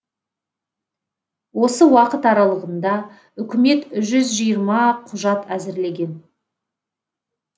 осы уақыт аралығында үкімет жүз жиырма құжат әзірлеген